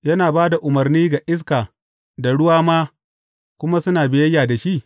Yana ba da umarni ga iska da ruwa ma, kuma suna biyayya da shi?